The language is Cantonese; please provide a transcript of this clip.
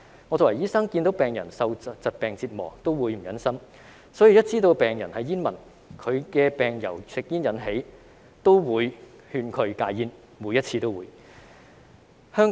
我作為醫生，看到病人受疾病折磨也會於心不忍，所以只要知道病人是煙民，以及其疾病由吸煙引起，我也會勸他們戒煙，每一次都會。